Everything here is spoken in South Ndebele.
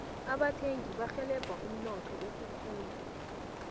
abathengi barhelebha umnotho ukukhula